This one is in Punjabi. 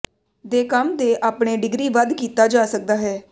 ਦੇ ਕੰਮ ਦੇ ਆਪਣੇ ਡਿਗਰੀ ਵੱਧ ਕੀਤਾ ਜਾ ਸਕਦਾ ਹੈ